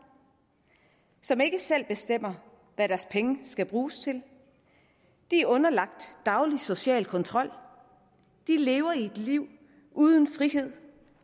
som ikke selv bestemmer hvad deres penge skal bruges til de er underlagt daglig social kontrol de lever et liv uden frihed